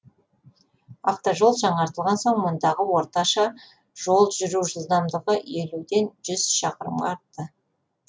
автожол жаңартылған соң мұндағы орташа жол жүру жылдамдығы елуден жүз шақырымға артты